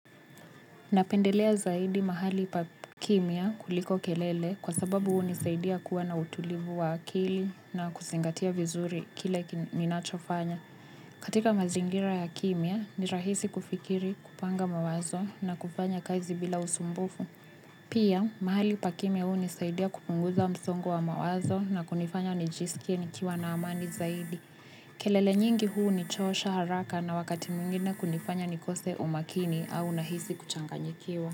Napendelea zaidi mahali pa kimya kuliko kelele kwa sababu hunisaidia kuwa na utulivu wa akili na kuzingatia vizuri kile ninachofanya. Katika mazingira ya kimya ni rahisi kufikiri kupanga mawazo na kufanya kazi bila usumbufu. Pia mahali pakimya huu nisaidia kupunguza msongo wa mawazo na kunifanya nijisikie nikiwa na amani zaidi. Kelele nyingi huu ni chosha haraka na wakati mwingine kunifanya nikose umakini au nahisi kuchanganyikiwa.